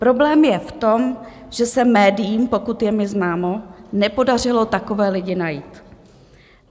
Problém je v tom, že se médiím, pokud je mi známo, nepodařilo takové lidi najít.